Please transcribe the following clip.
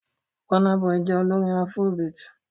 Burna Boy jẹ́ olórin afrobeat.